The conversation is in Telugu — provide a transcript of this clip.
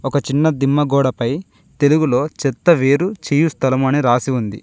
ఒక చిన్న దిమ్మ గోడపై తెలుగులో చెత్త వేరు చేయు స్థలం అని రాసి ఉంది.